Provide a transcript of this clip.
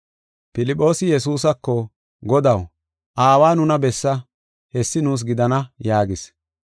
Filphoosi Yesuusako, “Godaw, Aawa nuna bessa; hessi nuus gidana” yaagis.